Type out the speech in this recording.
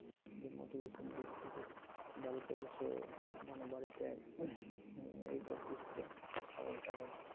যে motivation দিচ্ছে যে বাড়িতে বসে মানে বাড়িতে এইগুলো পুষতে ছাগল টাগল